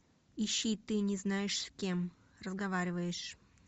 ищи ты не знаешь с кем разговариваешь